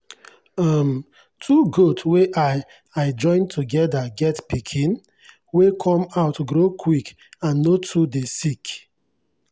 um two goat wey i i join together get pikin wey come out grow quick and no too dey sick.